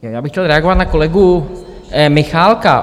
Já bych chtěl reagovat na kolegu Michálka.